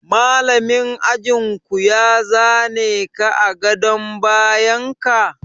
Malamin ajin ku ya za ne ka a gadon bayan ka?